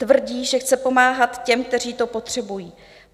Tvrdí, že chce pomáhat těm, kteří to potřebují.